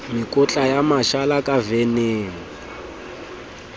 mekotla ya mashala ka veneng